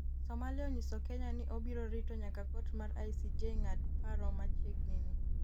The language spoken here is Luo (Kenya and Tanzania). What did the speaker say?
Somalia onyiso Kenya ni obiro rito nyaka kot mar ICJ ng'at paro machiegnini